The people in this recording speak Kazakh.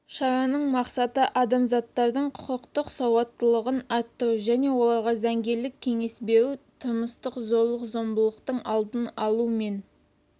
шараның мақсаты азаматтардың құқықтық сауаттылығын арттыру және оларға заңгерлік кеңес беру тұрмыстық зорлық-зомбылықтың алдын алу мен